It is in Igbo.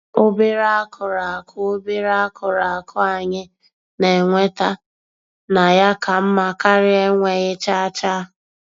Obere akụrụ akụ Obere akụrụ akụ anyị na-enweta na ya ka mma karịa enweghi chaa chaa.